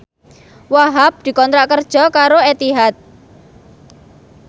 Wahhab dikontrak kerja karo Etihad